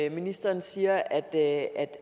at ministeren siger at